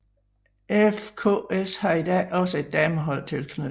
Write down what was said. FKS har i dag også et damehold tilknyttet